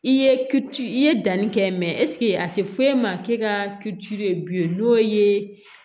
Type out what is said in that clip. I ye ci i ye danni kɛ mɛsike a tɛ foyi ma k'e ka ci ye bilen n'o ye